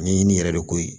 Ni ɲini yɛrɛ de ko ye